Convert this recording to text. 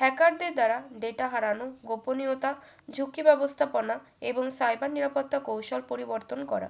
hacker দের দ্বারা data হারানো গোপনীয়তা ঝুঁকি ব্যবস্থাপনা এবং cyber নিরাপত্তা কৌশল পরিবর্তন করা